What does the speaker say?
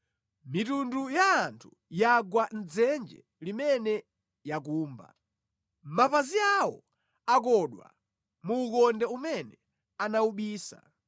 Mitundu ya anthu yagwa mʼdzenje limene yakumba; mapazi awo akodwa mu ukonde umene anawubisa.